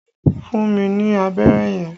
Fún mi ní abẹ́rẹ́ yẹn!